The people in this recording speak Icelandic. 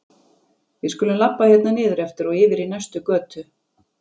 Við skulum labba hérna niður eftir og yfir í næstu götu.